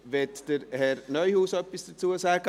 Möchte Herr Neuhaus etwas dazu sagen?